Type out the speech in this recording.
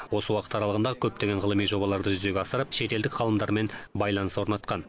осы уақыт аралағында көптеген ғылыми жобаларды жүзеге асырып шетелдік ғалымдармен байланыс орнатқан